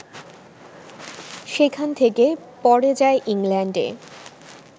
সেখান থেকে পরে যায় ইংল্যান্ডে